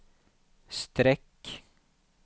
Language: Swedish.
streck